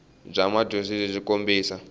bya madyondza byi kombisa